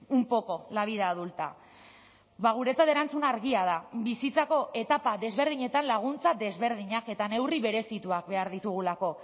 un poco la vida adulta guretzat erantzuna argia da bizitzako etapa desberdinetan laguntza desberdinak eta neurri berezituak behar ditugulako